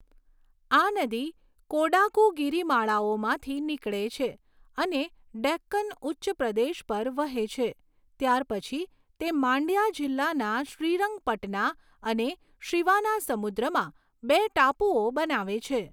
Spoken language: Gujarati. આ નદી કોડાગુ ગિરિમાળાઓમાંથી નીકળે છે અને ડેક્કન ઉચ્ચપ્રદેશ પર વહે છે ત્યાર પછી, તે માંડ્યા જિલ્લાના શ્રીરંગપટના અને શિવાનાસમુદ્રમાં બે ટાપુઓ બનાવે છે.